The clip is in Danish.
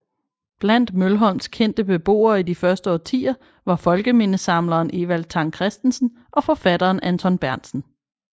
Blandt Mølholms kendte beboere i de første årtier var folkemindesamleren Evald Tang Kristensen og forfatteren Anton Berntsen